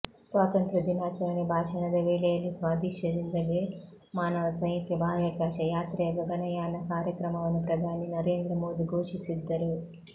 ಸ್ವಾತಂತ್ರ್ಯ ದಿನಾಚರಣೆ ಭಾಷಣದ ವೇಳೆಯಲ್ಲಿ ಸ್ವದೇಶದಿಂದಲೇ ಮಾನವ ಸಹಿತ ಬಾಹ್ಯಾಕಾಶ ಯಾತ್ರೆಯ ಗಗನಯಾನ ಕಾರ್ಯಕ್ರಮವನ್ನು ಪ್ರಧಾನಿ ನರೇಂದ್ರ ಮೋದಿ ಘೋಷಿಸಿದ್ದರು